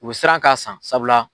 U bɛ siran k'a san sabula